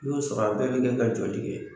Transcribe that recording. Ni y'o sɔrɔ a bɛ bi kɛ ka jɔli kɛ